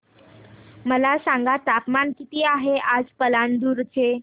मला सांगा तापमान किती आहे आज पालांदूर चे